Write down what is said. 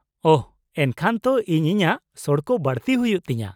ᱼᱳᱦᱚ, ᱮᱱᱠᱷᱟᱱ ᱛᱚ ᱤᱧ ᱤᱧᱟᱹᱜ ᱥᱚᱲᱠᱚ ᱵᱟᱹᱲᱛᱤᱭ ᱦᱩᱭᱩᱜ ᱛᱤᱧᱟᱹ ᱾